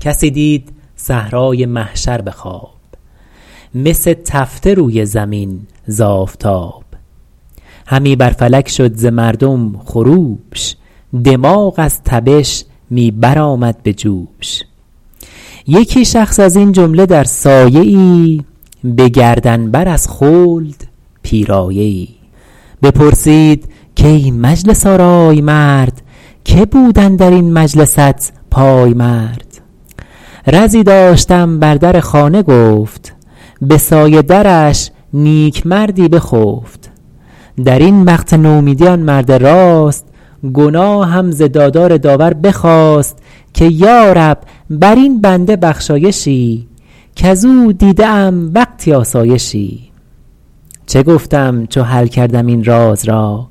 کسی دید صحرای محشر به خواب مس تفته روی زمین ز آفتاب همی بر فلک شد ز مردم خروش دماغ از تبش می برآمد به جوش یکی شخص از این جمله در سایه ای به گردن بر از خلد پیرایه ای بپرسید کای مجلس آرای مرد که بود اندر این مجلست پایمرد رزی داشتم بر در خانه گفت به سایه درش نیکمردی بخفت در این وقت نومیدی آن مرد راست گناهم ز دادار داور بخواست که یارب بر این بنده بخشایشی کز او دیده ام وقتی آسایشی چه گفتم چو حل کردم این راز را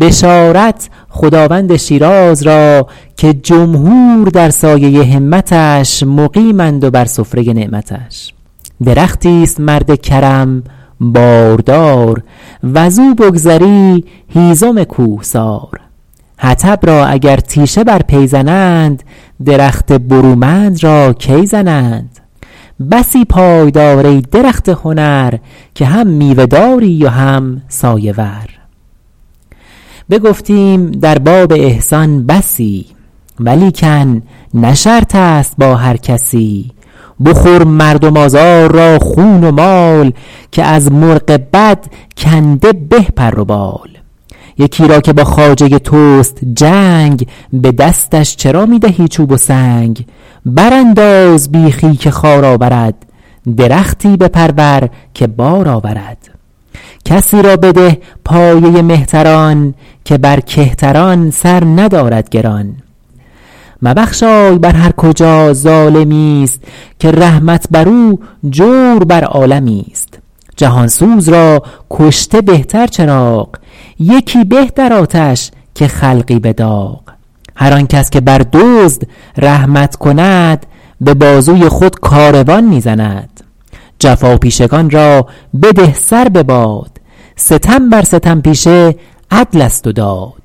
بشارت خداوند شیراز را که جمهور در سایه همتش مقیمند و بر سفره نعمتش درختی است مرد کرم باردار وز او بگذری هیزم کوهسار حطب را اگر تیشه بر پی زنند درخت برومند را کی زنند بسی پای دار ای درخت هنر که هم میوه داری و هم سایه ور بگفتیم در باب احسان بسی ولیکن نه شرط است با هر کسی بخور مردم آزار را خون و مال که از مرغ بد کنده به پر و بال یکی را که با خواجه توست جنگ به دستش چرا می دهی چوب و سنگ بر انداز بیخی که خار آورد درختی بپرور که بار آورد کسی را بده پایه مهتران که بر کهتران سر ندارد گران مبخشای بر هر کجا ظالمی است که رحمت بر او جور بر عالمی است جهان سوز را کشته بهتر چراغ یکی به در آتش که خلقی به داغ هر آن کس که بر دزد رحمت کند به بازوی خود کاروان می زند جفاپیشگان را بده سر بباد ستم بر ستم پیشه عدل است و داد